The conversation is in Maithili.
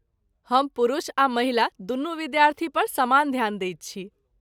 हम पुरुष आ महिला दुनू विद्यार्थी पर समान ध्यान दैत छी।